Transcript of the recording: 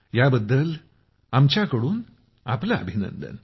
यापबद्दल आमच्याकडून आपलं अभिनंदन